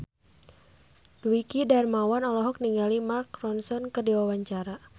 Dwiki Darmawan olohok ningali Mark Ronson keur diwawancara